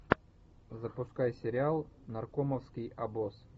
запускай сериал наркомовский обоз